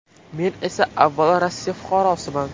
Men esa avvalo Rossiya fuqarosiman.